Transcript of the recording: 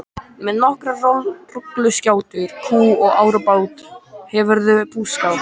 Með nokkrar rolluskjátur, kú og árabát hefurðu búskap.